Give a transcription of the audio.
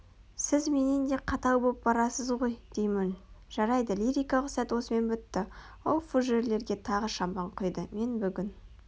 сіз менен де қатал боп барасыз ғой деймін жарайды лирикалық сәт осымен бітті ол фужерлерге тағы шампан құйды мен бүгін